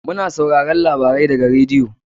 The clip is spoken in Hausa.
Mu na sauraron labarai daga radiyo.